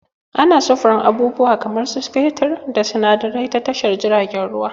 Ana sufurun abubuwa kamar su fetur da sinadarai ta tashar jiragen ruwa